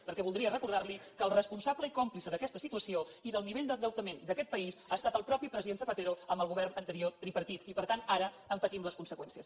perquè voldria recordar li que el responsable i còmplice d’aquesta situació i del nivell d’endeutament d’aquest país ha estat el mateix president zapatero amb el govern anterior tripartit i per tant ara en patim les conseqüències